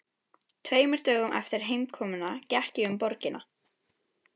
Tveimur dögum eftir heimkomuna gekk ég um borgina.